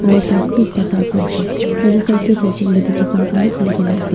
aro bike bi ekta park kurinaase yatae side tae saishey koilae tu dukan khan bi khulikae na ase.